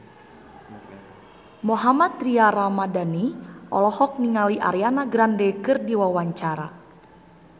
Mohammad Tria Ramadhani olohok ningali Ariana Grande keur diwawancara